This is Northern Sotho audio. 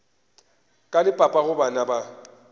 ka le papago bana ba